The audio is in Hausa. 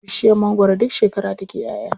Bishiyar mangwaro duk shekara take ƴaʼya.